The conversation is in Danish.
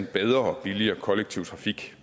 bedre og billigere kollektiv trafik